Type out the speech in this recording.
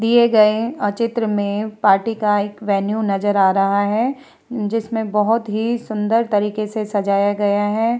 दिए गए अ चित्र में पार्टी का एक वेन्यू नज़र आ रहा है जिसमे बहुत ही सुन्दर तरीके से सजाया गया है।